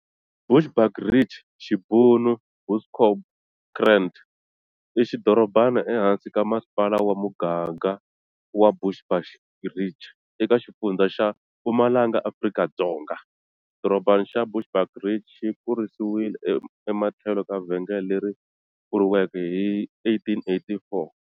Bushbuckridge, Xibunu-"Bosbokrand", i xidorobana ehansi ka Masipala wa Mugaga wa Bushbuckridge, ekaXifundza xa, Mpumalanga, Afrika-Dzonga. Xidorobana xa Bushbuckridge xi kurisiwile ematlhelo ka vhengele leri pfuriweke hi 1884.